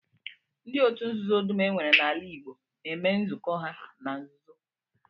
Ndị otu nzuzo dum e nwere n'ala Igbo na-eme nzukọ ha na nzuzo